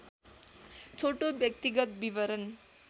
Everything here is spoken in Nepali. छोटो व्यक्तिगत विवरण